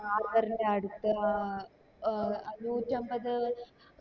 harbor ൻറെ അടുത്ത ഏർ ആ നൂറ്റമ്പത്